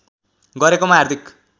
गरेकोमा हार्दिक